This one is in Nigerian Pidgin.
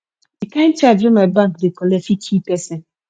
the kin charge wey my bank dey collect fit kill person